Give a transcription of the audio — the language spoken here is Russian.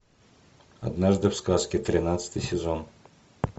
однажды в сказке тринадцатый сезон